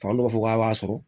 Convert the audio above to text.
Fan dɔw b'a fɔ k'a b'a sɔrɔ